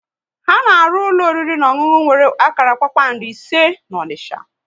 Ha na arụ ụlọ oriri na ọṅụnụ nwere akara kpakpando ise n'Onisha